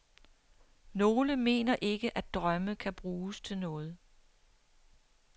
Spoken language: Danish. Nogle mener ikke, at drømme kan bruges til noget.